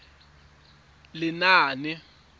lenaane